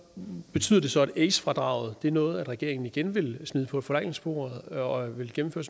betyder det så at ace fradraget er noget regeringen igen vil smide på forhandlingsbordet og vil gennemføre